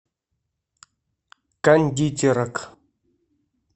кондитерок